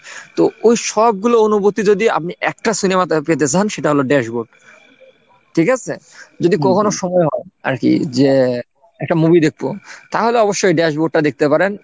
তো ওই সবগুলো অনুভূতি যদি আপনি একটা সিনেমাতে পেতে চান সেটা হলো ড্যাসবোর্ড ঠিক আছে যদি কখনো সময় হয় আর কি যে একটা movie দেখবো তাহলে অবশ্যই ড্যাসবোর্ডটা দেখতে পারেন।